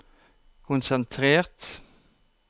konsentrert